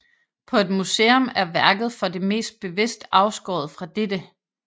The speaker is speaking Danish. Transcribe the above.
På et museum er værket for det meste bevidst afskåret fra dette